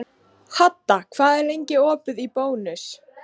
Hadda, hvað er lengi opið í Bónus?